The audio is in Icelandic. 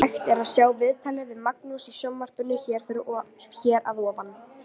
Hægt er að sjá viðtalið við Magnús í sjónvarpinu hér að ofan.